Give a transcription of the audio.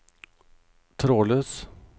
trådløs